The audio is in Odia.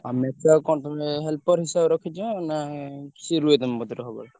ଆଉ ମେକୁଆ କୁ କଣ ତମେ helper ହିସାବରେ ରଖିଛ ନା ସିଏ ରୁହେ ତମ କତିରେ ସବୁବେଳେ?